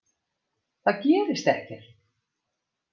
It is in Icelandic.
Það gerist ekkert.